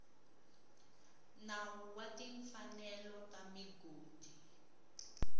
nawu wa timfanelo ta migodi